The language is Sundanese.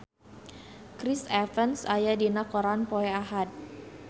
Chris Evans aya dina koran poe Ahad